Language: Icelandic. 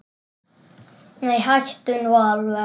Nei, hættu nú alveg!